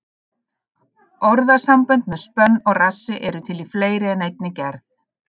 Orðasambönd með spönn og rassi eru til í fleiri en einni gerð.